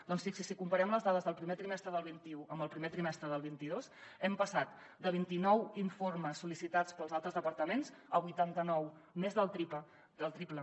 doncs fixi s’hi si comparem les dades del primer trimestre del vint un amb el primer trimestre del vint dos hem passat de vint i nou informes sol·licitats pels altres departaments a vuitanta nou més del triple